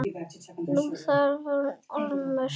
Nú þagnaði Ormur.